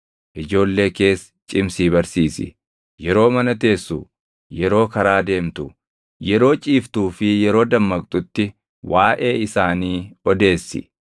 Ijoollee kees cimsii barsiisi. Yeroo mana teessu, yeroo karaa deemtu, yeroo ciiftuu fi yeroo dammaqxutti waaʼee isaanii odeessi.